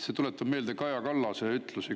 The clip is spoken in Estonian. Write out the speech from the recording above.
See tuletab meelde Kaja Kallast.